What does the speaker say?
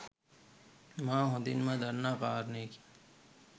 මා හොඳින්ම දන්නා කාරණයකි.